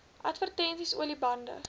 advertensies olie bande